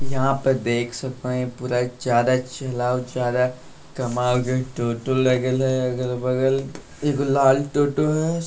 यहाँ पर देख सकते है पूरा ज्यादा चला जा रहा है कमाल के टोटो लगे है अगल बगल एक लाल टोटो हैं।